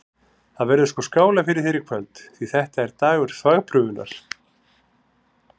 Það verður sko skálað fyrir þér í kvöld, því þetta er dagur þvagprufunnar!